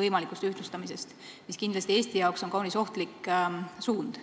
võimalikust ühtlustamisest, mis on Eestile kindlasti kaunis ohtlik suund.